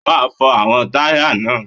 O máa fọ àwọn táyà náà.